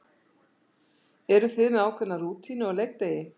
Eru þið með ákveðna rútínu á leikdegi?